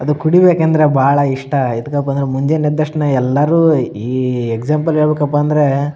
ಅದು ಕುಡಿಬೇಕಂದ್ರ ಬಾಳ ಇಷ್ಟ ಆಯ್ತದೆ ಪಂದ್ರ ಮುಂದಿ ಎದ್ ತಕ್ಷಣ ಎಲ್ಲಾರು ಈ ಎಕ್ಸಾಂಪಲ್ ಹೇಳ್ ಬೆಕ್ಕಪ್ಪಾ ಅಂದ್ರೆ --